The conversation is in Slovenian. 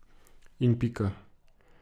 In pika!